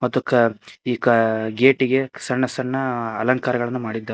ಮತ್ತು ಕ ಈ ಕ ಗೇಟಿಗೆ ಸಣ್ಣ ಸಣ್ಣ ಅಲಂಕರಗಳನ್ನ ಮಾಡಿದ್ದಾ--